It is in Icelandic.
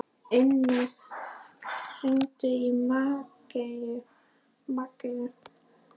Inna, hringdu í Maggeyju.